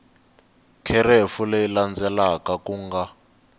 kherefu leyi landzelaka ku nga